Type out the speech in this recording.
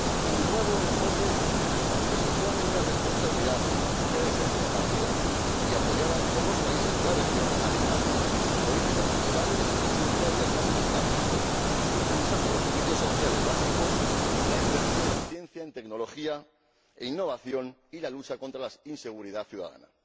un nuevo enfoque que supone una responsabilidad que ha de ser compartida y apoyada por los países de la región, alentando políticas fiscales y tributarias más eficaces e impulsando los servicios sociales básicos, la inversión en ciencia, en tecnología e innovación, y la lucha contra la inseguridad ciudadana.